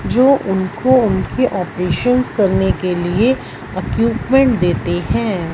जो उनको उनके ऑपरेशंस करने के लिए इक्यूपमेंट देते हैं।